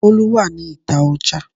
Bolu wà ní ìta Ọjà.